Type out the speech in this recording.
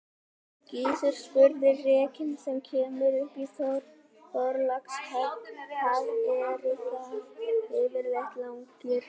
Gizur spurði:-Rekinn sem kemur upp í Þorlákshöfn, hvað eru það yfirleitt langir bolir?